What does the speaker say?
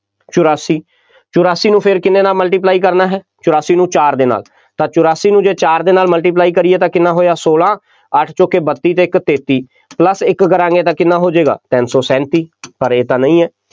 ਚੁਰਾਸੀ, ਚੁਰਾਸੀ ਨੂੰ ਫੇਰ ਕਿੰਨੇ ਨਾਲ multiply ਕਰਨਾ ਹੈ, ਚੁਰਾਸੀ ਨੂੰ ਚਾਰ ਦੇ ਨਾਲ, ਤਾਂ ਚੁਰਾਸੀ ਨੂੰ ਜੇ ਚਾਰ ਦੇ ਨਾਲ multiply ਕਰੀਏ ਤਾਂ ਕਿੰਨਾ ਹੋਇਆ, ਸੋਲਾਂ, ਅੱਠ ਚੌਕੇ ਬੱਤੀ ਅਤੇ ਇੱਕ ਤੇਤੀ plus ਇੱਕ ਕਰਾਂਗੇ, ਤਾਂ ਕਿੰਨਾ ਹੋ ਜਾਏਗਾ, ਤਿੰਨ ਸੌ ਸੈਂਤੀ, ਪਰ ਇਹ ਤਾਂ ਨਹੀਂ ਹੈ,